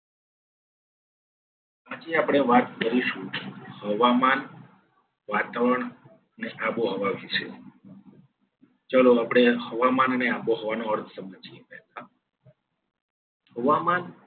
આજે આપણે વાત કરીશું. હવામાન, વાતાવરણ અને આબોહવા વિશે. ચલો આપણે હવામાન અને આબોહવા નો અર્થ સમજીએ. એમાં હવામાન